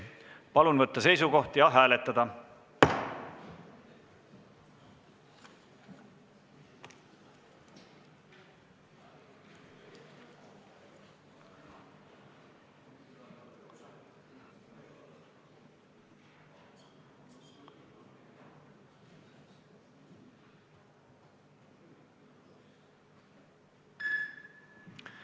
Palun võtta seisukoht ja hääletada!